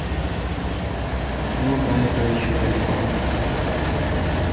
ну до этого ещё далеко